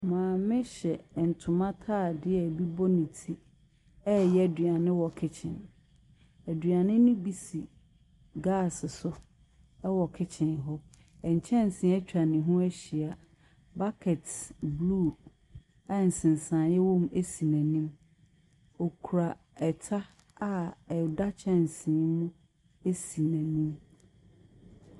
Maame hyɛ ntoma atadeɛ a ebi bɔ ne ti reyɛ aduane wɔ kitchen. Aduane no bi si gaase so wɔ kitchen hɔ. Nkɛnse atwa ne ho ahyia. Bucket blue a nsensaneeɛ wom si n'anim. Ɔkura ta a ɛda kyɛnse mu si n'anim.